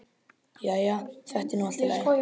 Jæja, þetta er nú allt í lagi.